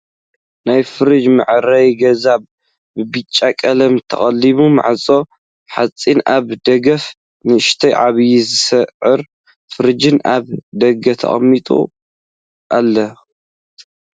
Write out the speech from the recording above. ናይ ፍርጅ መዐረይ ገዛ ብቢጫ ቀለም ተቀለመ ማዕፅኡ ሓፂን ኣብ ደገኣፍ ንእሽተይን ዓብይን ዝዕረ ፍርጃት ኣብ ደገ ተቀሚጠን ኣለዋ ።